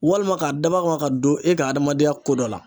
Walima k'a dabɔ a kama ka don e ka adamadenya ko dɔ la